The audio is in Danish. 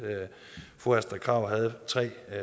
fru astrid krag havde tre